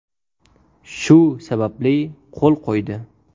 Shu sababli, qo‘l qo‘ydi”.